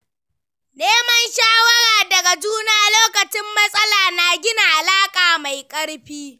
Neman shawara daga juna lokacin matsala na gina alaƙa mai ƙarfi.